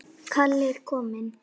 Kallið er komið